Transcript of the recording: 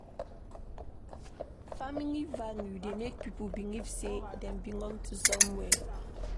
Family value dey make pipo believe sey dem belong to somewhere